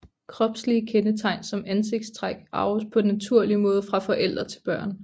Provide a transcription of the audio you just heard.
Kropslige kendetegn som ansigtstræk arves på naturlig måde fra forældre til børn